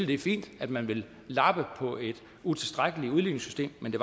det er fint at man vil lappe på et utilstrækkeligt udligningssystem men det